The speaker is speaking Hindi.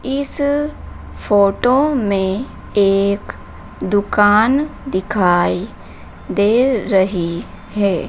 इस फोटो में एक दुकान दिखाई दे रही है।